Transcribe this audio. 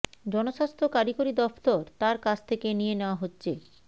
জনস্বাস্থ্য কারিগরি দফতর তাঁর কাছ থেকে নিয়ে নেওয়া হচ্ছে